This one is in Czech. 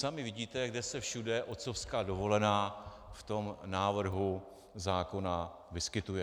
Sami vidíte, kde se všude otcovská dovolená v tom návrhu zákona vyskytuje.